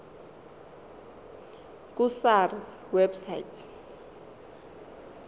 ku sars website